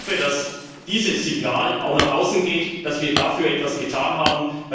Ich hoffe, dass dieses Signal auch nach außen geht, dass wir dafür etwas getan haben.